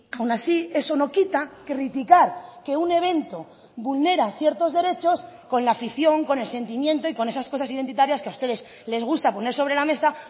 aun así eso no quita criticar que un evento vulnera ciertos derechos con la afición con el sentimiento y con esas cosas identitarias que a ustedes les gusta poner sobre la mesa